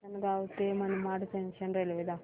आसंनगाव ते Manmad junction railway दाखव